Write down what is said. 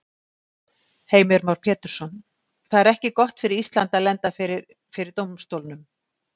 Heimir Már Pétursson: Það er ekki gott fyrir Ísland að lenda fyrir, fyrir dómstólnum?